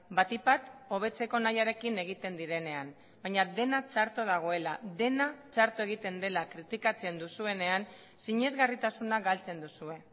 batik bat hobetzeko nahiarekin egiten direnean baina dena txarto dagoela dena txarto egiten dela kritikatzen duzuenean sinesgarritasuna galtzen duzue